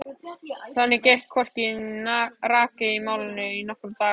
Þannig gekk hvorki né rak í málinu í nokkra daga.